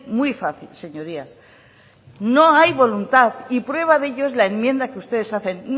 muy fácil señorías no hay voluntad y prueba de ello es la enmienda que ustedes hacen